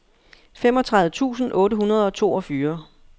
femogtredive tusind otte hundrede og toogfyrre